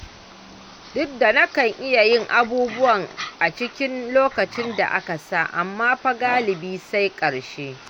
Duk da nakan iya yin abubuwa a cikin lokacin da aka sa, amma fa galibi sai ƙarshe.